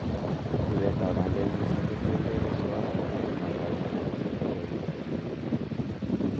ruratetab bandek missing kotienge keswot, ropta ne magat, ak ripset ne kagigoochi minutiet.